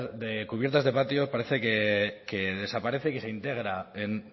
de cubiertas de patio parece que desaparece que se integra en